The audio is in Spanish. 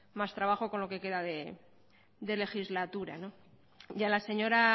más trabajo con lo que queda de legislatura y a la señora